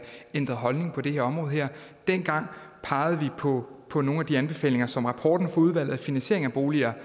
ændret holdning på det her område dengang pegede vi på på nogle af de anbefalinger som rapporten fra udvalget om finansiering af boliger